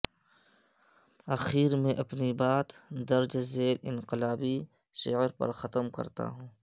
اخیر میں اپنی بات درج ذیل انقلابی شعر پر ختم کرتا ہوں